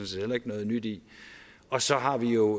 set heller ikke noget nyt i og så har vi jo